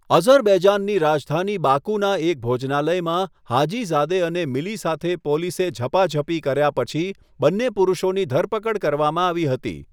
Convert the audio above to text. અઝરબૈજાનની રાજધાની બાકુના એક ભોજનાલયમાં હાજીઝાદે અને મિલી સાથે પોલીસે ઝપાઝપી કર્યા પછી, બંને પુરુષોની ધરપકડ કરવામાં આવી હતી.